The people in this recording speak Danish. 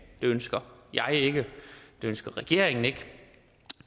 ønsker jeg ikke det ønsker regeringen ikke